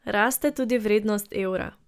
Raste tudi vrednost evra.